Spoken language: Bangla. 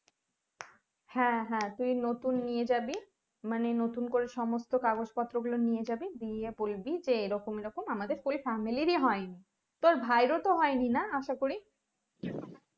হ্যাঁ হ্যাঁ তুই নতুন নিয়ে যাবি মানে নতুন করে সমস্ত কাগজ গুলো নিয়ে যাবি দিয়ে বলবি যে এরকম এরকম আমাদের fullfamily এর হয়নি তোর ভাই এর ও তো হয়নি না আশাকরি